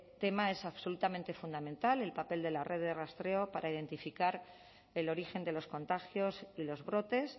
tema es absolutamente fundamental el papel de la red de rastreo para identificar el origen de los contagios y los brotes